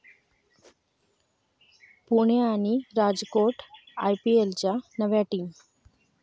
पुणे' आणि 'राजकोट' आयपीएलच्या नव्या टीम